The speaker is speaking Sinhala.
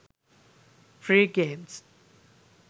free games